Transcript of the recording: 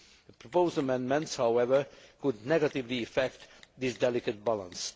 The proposed amendments, however, could negatively affect this delicate balance.